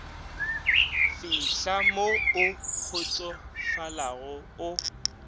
fihla mo o kgotsofalago o